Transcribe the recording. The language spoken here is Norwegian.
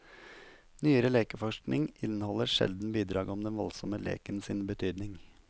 Nyere lekeforskning inneholder sjelden bidrag om den voldsomme leken sin betydning.